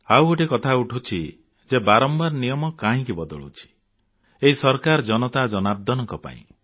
ଆଉ ଗୋଟିଏ କଥା ଉଠୁଛି ଯେ ବାରମ୍ବାର ନିୟମ କାହିଁକି ବଦଳୁଛି ଏହି ସରକାର ଜନତା ଜନାର୍ଦ୍ଦନଙ୍କ ପାଇଁ